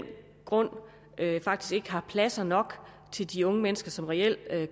grund faktisk ikke har pladser nok til de unge mennesker som reelt